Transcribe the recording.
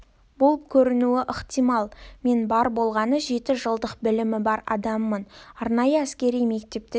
болып көрінуі ықтимал мен бар болғаны жеті жылдық білімі бар адаммын арнайы әскери мектепті де